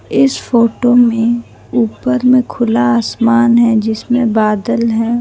इस फोटो में ऊपर में खुला आसमान है जिसमें बादल हैं।